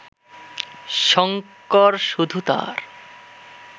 শঙ্কর শুধু তাঁর